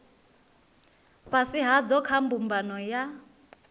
fhasi hadzo kha mbumbano ya